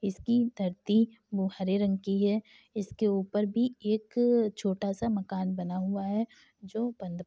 इसकी धरती वो हरे रंग की है इसके ऊपर भी एक छोटा सा मकान बना हुआ है जो बन्द प --